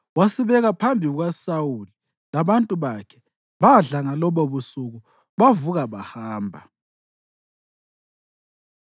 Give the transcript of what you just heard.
Wasibeka phambi kukaSawuli labantu bakhe, badla. Ngalobobusuku bavuka bahamba.